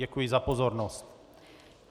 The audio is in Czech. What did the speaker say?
Děkuji za pozornost.